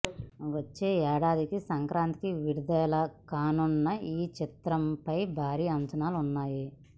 వచ్చే ఏడాదికి సంక్రాంతికి విడుదలకానున్న ఈ చిత్రంపై భారీ అంచనాలు ఉన్నాయి